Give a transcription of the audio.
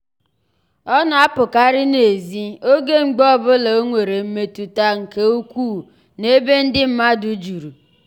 ọ na-apụkarị n'ezi oge mgbe ọ bụla o nwere mmetụta nke mmetụta nke ukwuu n'ebe ndị mmadụ juru.